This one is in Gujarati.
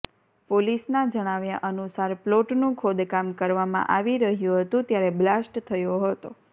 પોલીસના જણાવ્યા અનુસાર પ્લોટનું ખોદકામ કરવામાં આવી રહ્યું હતું ત્યારે બ્લાસ્ટ થયો હતો